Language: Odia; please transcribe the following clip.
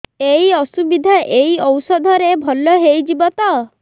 ଏଇ ଅସୁବିଧା ଏଇ ଔଷଧ ରେ ଭଲ ହେଇଯିବ ତ